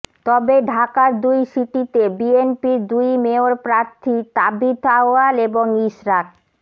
তবে ঢাকার দুই সিটিতে বিএনপির দুই মেয়র প্রার্থী তাবিথ আউয়াল এবং ইশরাক